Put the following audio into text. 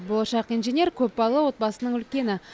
болашақ инженер көпбалалы отбасының үлкені